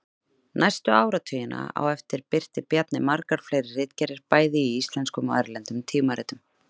Næstu áratugina á eftir birti Bjarni margar fleiri ritgerðir bæði í íslenskum og erlendum tímaritum.